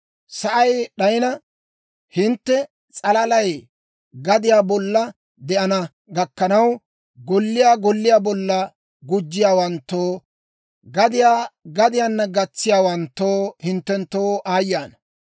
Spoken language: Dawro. Sa'ay d'ayina, hintte s'alalay gadiyaa bolla de'ana gakkanaw, golliyaa golliyaa bolla gujjiyaawanttoo, gadiyaa gadiyaanna gatsiyaawanttoo, hinttenttoo aayye ana!